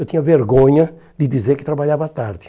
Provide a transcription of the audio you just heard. Eu tinha vergonha de dizer que trabalhava à tarde.